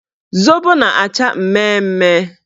Zobo na-acha mmemme